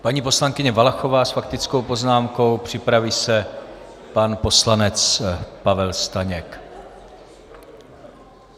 Paní poslankyně Valachová s faktickou poznámkou, připraví se pan poslanec Pavel Staněk.